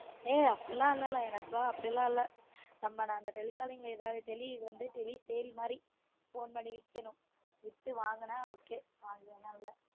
ஏய் அப்டிலான் இல்ல ல எனக்குலான் அப்டிலான் இல்ல நம்ம இந்த tele calling ல இதுல வந்து tele இது வந்து tele sale மாதிரி phone பண்ணி விக்கனும் வித்து வாங்குனா ok வாங்களனால இல்ல